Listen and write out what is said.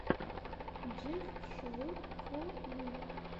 джефф шоу фо ю